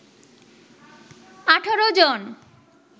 ১৮ জন